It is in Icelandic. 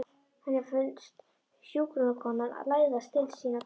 Henni finnst hjúkrunarkonan læðast til sín á tánum.